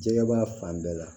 Jɛgɛba fan bɛɛ la